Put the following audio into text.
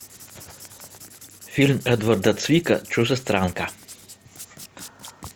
фильм эдварда цвика чужестранка